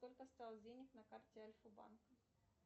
сколько осталось денег на карте альфа банка